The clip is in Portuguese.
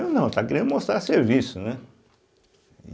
Eu não, estava querendo mostrar serviço, né? e